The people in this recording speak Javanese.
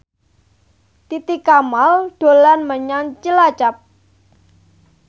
Titi Kamal dolan menyang Cilacap